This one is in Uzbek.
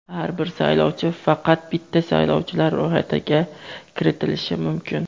Har bir saylovchi faqat bitta saylovchilar ro‘yxatiga kiritilishi mumkin.